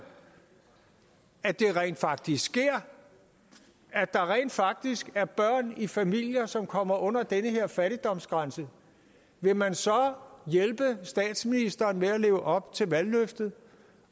at det rent faktisk sker at der rent faktisk er børn i familier som kommer under den her fattigdomsgrænse vil man så hjælpe statsministeren med at leve op til valgløftet